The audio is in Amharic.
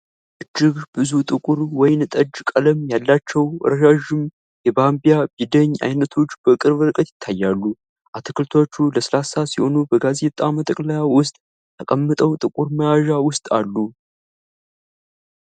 እጅግ ብዙ ጥቁር ወይን ጠጅ ቀለም ያላቸው ረዣዥም የባሚያ/ቢደኝ አይነቶች በቅርብ ርቀት ይታያሉ። አትክልቶቹ ለስላሳ ሲሆኑ፣ በጋዜጣ መጠቅለያ ውስጥ ተቀምጠው ጥቁር መያዣ ውስጥ አሉ።